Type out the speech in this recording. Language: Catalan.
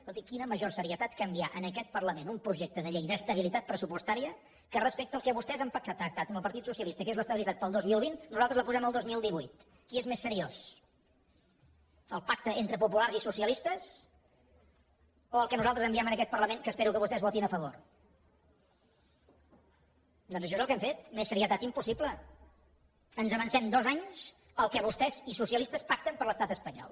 escolti quina major serietat que enviar en aquest parlament un projecte de llei d’estabilitat pressupostària que respecte al que vostès han pactat amb el partit socialista que és l’estabilitat per al dos mil vint nosaltres la posem al dos mil divuit què és més seriós el pacte entre populars i socialistes o el que nosaltres enviem en aquest parlament que espero que vostès hi votin a favor doncs això és el que hem fet més serietat impossible ens avancem dos anys al que vostès i socialistes pacten per a l’estat espanyol